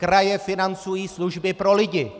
Kraje financují služby pro lidi!